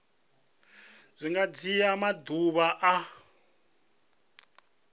zwi nga dzhia maḓuvha a